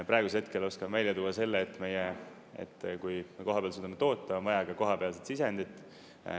Praegusel hetkel oskan välja tuua selle, et kui me koha peal suudame toota, on vaja ka kohapealseid sisendit.